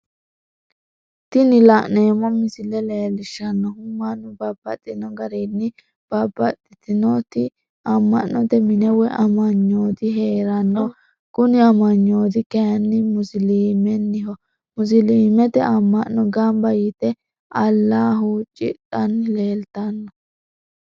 Tini la'neemo misile leellishanohu mannu babaxxino garinni babaxittinotti ama'note mine woyi amanyooti heeranno, kuni amanyooti kayinni musilimeniho, musilimete ama'no gamba yite alaha huuccidhanni leellitano